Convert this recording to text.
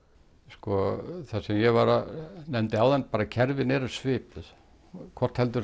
sko það sem ég nefndi áðan kerfin eru svipuð hvort heldur